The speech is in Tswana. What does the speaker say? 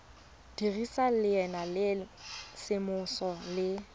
dirisa leina la semmuso le